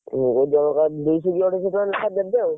ଜଣକା ଦୁଇଶହ କି ଅଢେଇଶହ ଟଙ୍କା ଲେଖା ଦେବେ ଆଉ।